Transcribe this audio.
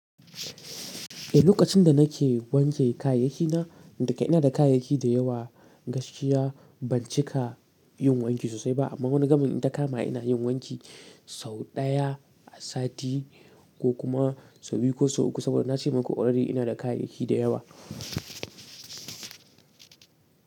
Lokacin da nake wanke kayayyakina da ke ina da kayayyaki da yawa gaskiya ban cika yin wanki sosai ba. Amma wani gamin in ta kama ina yin wanki sau ɗaya a sati. Ko kuma sau biyu ko sau uku saboda na ce maku already ina da kayayyaki da yawa.